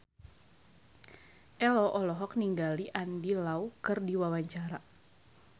Ello olohok ningali Andy Lau keur diwawancara